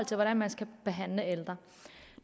til hvordan man skal behandle ældre